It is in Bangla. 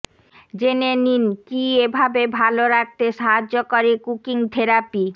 জেনে নিন কি এভাবে ভাল রাখতে সাহায্য করে কুকিং থেরাপি